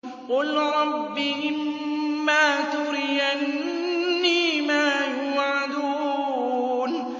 قُل رَّبِّ إِمَّا تُرِيَنِّي مَا يُوعَدُونَ